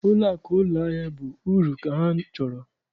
Ụlọakụ ụlọahịa bụ uru ka ha chọrọ.